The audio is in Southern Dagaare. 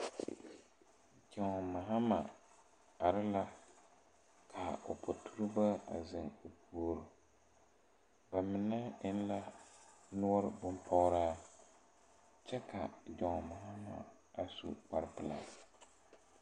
John Mahama are la kaa o poturibo a eŋ poɔ ba mine eŋ la nɔɔre bonpɔgraa kyɛ ka John mahama a su kparepelaa.